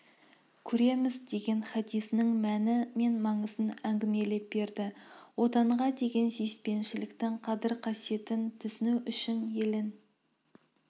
көреміз деген хадисінің мәні мен маңызын әңгімелеп берді отанға деген сүйіспеншіліктің қадір-қасиетін түсіну үшін елін